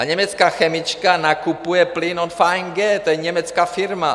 A německá chemička nakupuje plyn od VNG, to je německá firma.